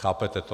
Chápete to?